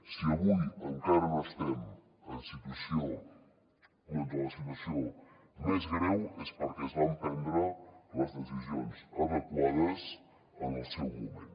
si avui encara no estem doncs en la situació més greu és perquè es van prendre les decisions adequades en el seu moment